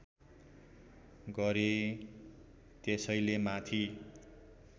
गरेँ त्यसैले माथि